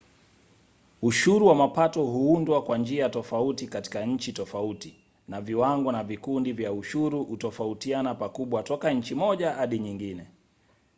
ushuru wa mapato huundwa kwa njia tofauti katika nchi tofauti na viwango na vikundi vya ushuru hutofautiana pakubwa toka nchi moja hadi nyingine